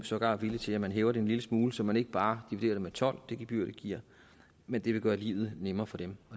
sågar villige til at man hæver det en lille smule så man ikke bare dividerer gebyr med tolv men det vil gøre livet nemmere for dem